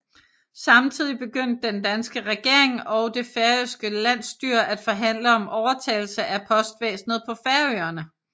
Samtidig begyndte den danske regering og det færøske landsstyre at forhandle om overtagelse af postvæsenet på Færøerne